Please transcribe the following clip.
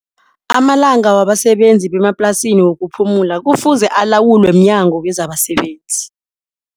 Amalanga wabasebenzi bemaplasini wokuphumula kufuze alawulwe mnyango wezabasebenzi.